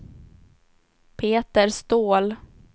Peter Ståhl